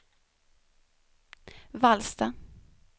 Vallsta